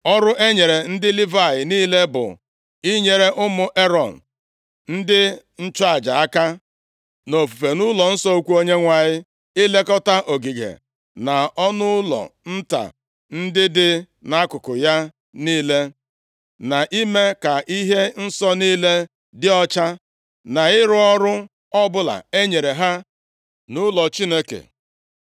Ọrụ e nyere ndị Livayị niile bụ inyere ụmụ Erọn ndị nchụaja aka nʼofufe nʼụlọnsọ ukwu Onyenwe anyị: ilekọta ogige, na ọnụụlọ nta ndị dị nʼakụkụ ya niile, na ime ka ihe nsọ niile dị ọcha, na ịrụ ọrụ ọbụla e nyere ha nʼụlọ Chineke.